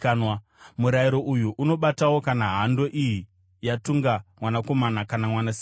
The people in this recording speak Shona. Murayiro uyu unobatawo kana hando iyi yatunga mwanakomana kana mwanasikana.